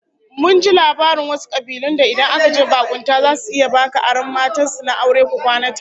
Mun ji labarin wasu kabilun da idan kaje bakunta zasu iya baka aron matan su na aure ku kwana tare!